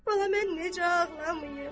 Bala, mən necə ağlamayım?